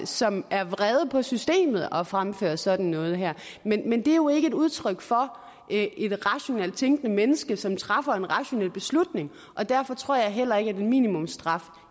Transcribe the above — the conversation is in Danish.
som er vrede på systemet og fremfører sådan noget her men det er jo ikke et udtryk for et rationelt tænkende menneske som træffer en rationel beslutning og derfor tror jeg heller ikke at en minimumsstraf